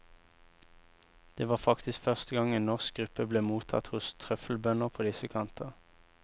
Det var faktisk første gang en norsk gruppe ble mottatt hos trøffelbønder på disse kanter.